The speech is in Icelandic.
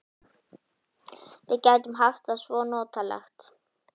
Við gætum haft það svo notalegt.